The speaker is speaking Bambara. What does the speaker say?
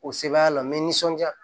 O sebaaya la n bɛ nisɔndiya